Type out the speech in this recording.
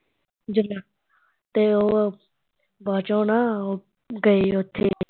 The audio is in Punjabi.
ਜਿਹੜੀਆ ਤੇ ਉਹ ਬਾਦ ਚੋਂ ਨਾ, ਉਹ ਗਏ ਉੱਥੇ